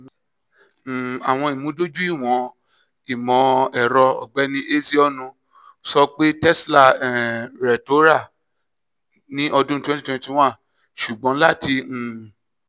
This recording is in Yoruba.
um awọn imudojuiwọn imọ-ẹrọ: ọgbẹni ezeonu sọ pe tesla um rẹ ti ra ni ọdun twenty twenty one ṣugbọn lati um